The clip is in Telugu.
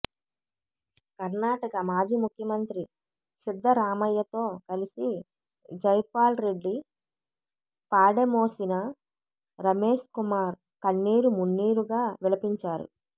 కర్నాటక మాజీ ముఖ్యమంత్రి సిద్ధరామయ్యతో కలిసి జైపాల్రెడ్డి పాడె మోసిన రమేష్కుమార్ కన్నీరు మున్నీరుగా విలపించారు